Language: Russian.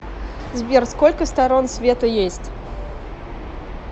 сбер сколько сторон света есть